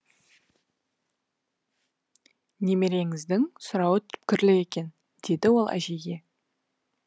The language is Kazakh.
немереңіздің сұрауы түпкірлі екен деді ол әжейге